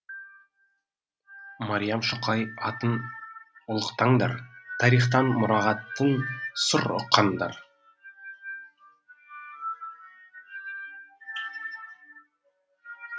мариям шоқай атын ұлықтаңдар тарихтан мұрағаттан сыр ұққандар